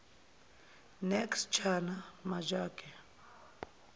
nks chana majake